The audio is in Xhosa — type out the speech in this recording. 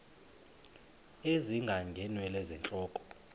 ezinga ngeenwele zentloko